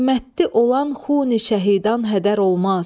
Qiymətli olan xuni şəhidan hədər olmaz.